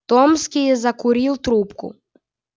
томский закурил трубку